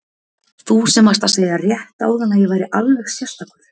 Þú sem varst að segja rétt áðan að ég væri alveg sérstakur.